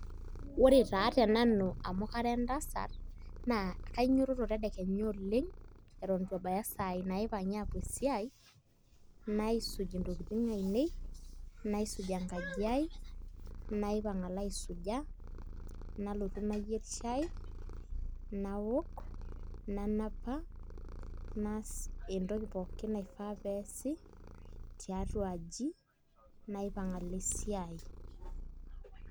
Ore taa tenanu amu kara entasat naa kanyiototo tedekenya oleng' eton itu ebaya isaai naapuoi esiai naisuj ntokitin ainei naisuj enkaji aai naipang' alo aisuja nalotu nayierr shai naok nanapa naas entoki pooki naifaa pee eesi tiatua aji naipang' alo esiai.